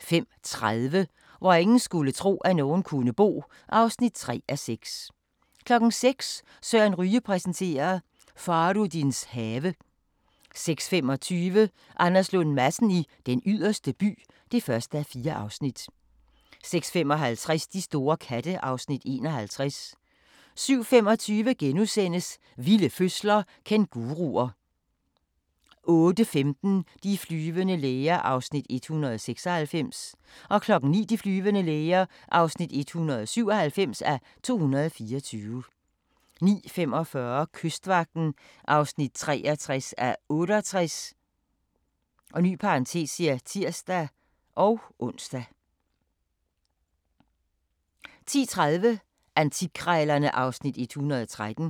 05:30: Hvor ingen skulle tro, at nogen kunne bo (3:6) 06:00: Søren Ryge præsenterer: Fahrudins have 06:25: Anders Lund Madsen i Den Yderste By (1:4) 06:55: De store katte (Afs. 51) 07:25: Vilde fødsler – Kænguruer * 08:15: De flyvende læger (196:224) 09:00: De flyvende læger (197:224) 09:45: Kystvagten (63:68)(tir-ons) 10:30: Antikkrejlerne (Afs. 113)